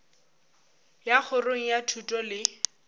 ya kgorong ya thuto le